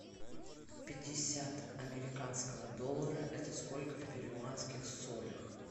пятьдесят американского доллара это сколько в перуанских солях